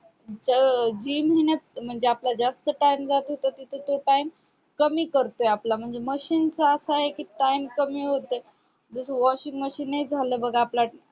त जीन म्हणजे महिन्यात जास्त times जात होता तिथं तो times कमी करतोय आपला म्हणजे machine चा असा आहे कि times कमी होते जस washing machine झालं बग आपला